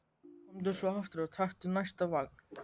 Komdu svo aftur og taktu næsta vagn.